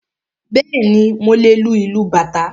Bẹ́ẹ̀ni, mo lè lu ìlú bàtá